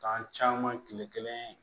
Kan caman kile kelen